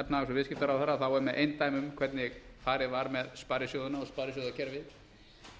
efnahags og viðskiptaráðherra er með eindæmum hvernig farið var með sparisjóðina og sparisjóðakerfið ég